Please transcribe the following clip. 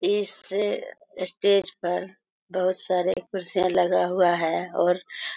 इस स्टेज पर बहुत सारे कुर्सियाँ लगा हुआ है और --